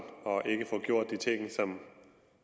og at den ikke får gjort de ting